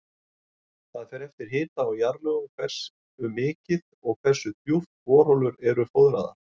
Það fer eftir hita og jarðlögum hversu mikið og hversu djúpt borholur eru fóðraðar.